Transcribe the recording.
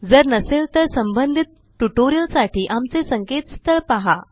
जर नसेल तर संबंधितटयूटोरिअलसाठी आमचे संकेतस्थळhttpspoken tutorialorgपहा